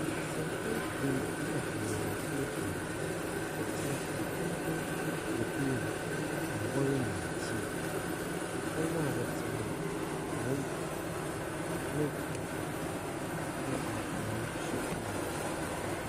Mmesiafo ebien, na mmenyinfo ebien wɔtsena ɛpon ho wɔ dan mu na wɔrenom tii. Ɛpon na wɔtse hon, nhoma bi da do, na mfonyi bi da do.